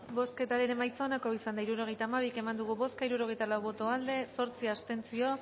bozketaren emaitza onako izan da hirurogeita hamabi eman dugu bozka hirurogeita lau boto aldekoa zortzi abstentzio